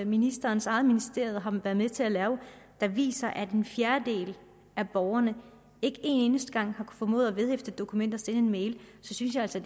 ministerens eget ministerium har været med til at lave viser at en fjerdedel af borgerne ikke en eneste gang har formået at vedhæfte et dokument og sende en mail så synes jeg altså